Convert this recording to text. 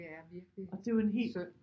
Det er virkelig synd